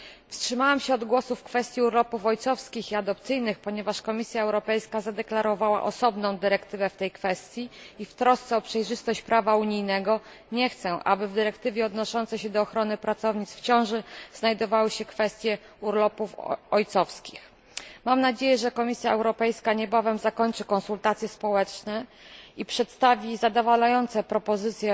Wstrzymałam się od głosu w kwestii urlopów ojcowskich i adopcyjnych, ponieważ Komisja Europejska zapowiedziała osobną dyrektywę w tej kwestii i w trosce o przejrzystość prawa unijnego nie chcę, aby w dyrektywie odnoszącej się do ochrony pracownic w ciąży znajdowały się kwestie urlopów ojcowskich. Mam nadzieję, że Komisja Europejska niebawem zakończy konsultacje społeczne i przedstawi zadowalające propozycje